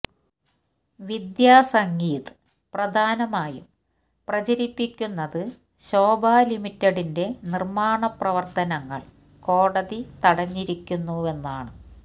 വിദ്യ സംഗീത് പ്രധാനമായും പ്രചരിപ്പിക്കുന്നത് ശോഭ ലിമിറ്റഡിന്റെ നിര്മ്മാണ പ്രവര്ത്തനങ്ങള് കോടതി തടഞ്ഞിരിക്കുന്നുവെന്നാണ്